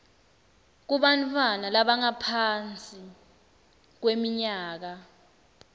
kubantfwana labangaphansi kweminyaka